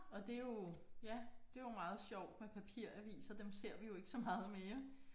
Og det jo ja det jo meget sjovt med papiraviser dem ser vi jo ikke så meget mere